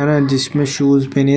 और जिमे शूज पहने हैं--